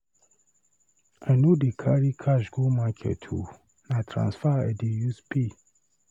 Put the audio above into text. I no dey carry cash go market o, na transfer I dey use pay.